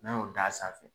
N'a y'o d'a sanfɛ